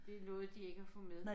Det nåede de ikke at få med